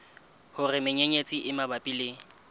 hore menyenyetsi e mabapi le